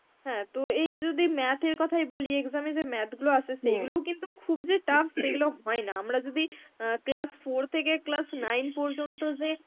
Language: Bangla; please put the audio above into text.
হ্যাঁ তো এই যদি math এর কথাই বলি exam এ যে math গুলো আসে সেইগুলোউ কিন্তু খুব যে tough সেগুলো হয় না. আমরা যদি অ্যাঁ class four থেকে class nine পর্যন্ত যে